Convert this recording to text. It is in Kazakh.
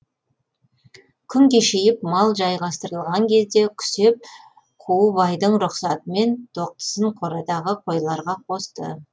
күн кешейіп мал жайғастырылған кезде күсеп қу байдың рұқсатымен тоқтысын қорадағы қойларға қосты